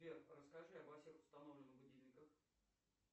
сбер расскажи о всех установленных будильниках